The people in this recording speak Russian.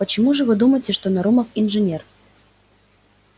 почему же вы думаете что нарумов инженер